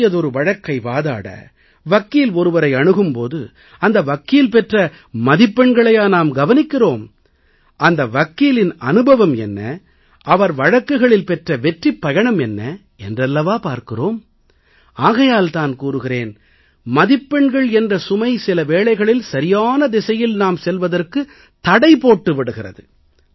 பெரிய வழக்கை வாதாட வக்கீல் ஒருவரை அணுகும் போது அந்த வக்கீல் பெற்ற மதிப்பெண்களையா நாம் கவனிக்கிறோம் அந்த வக்கீலின் அனுபவம் என்ன அவர் வழக்குகளில் பெற்ற வெற்றிப் பயணம் என்ன என்று அல்லவா பார்க்கிறோம் ஆகையால் தான் கூறுகிறேன் மதிப்பெண்கள் என்ற சுமை சில வேளைகளில் சரியான திசையில் நாம் செல்வதற்கு தடை போட்டு விடுகிறது